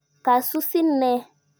Ka susin ne?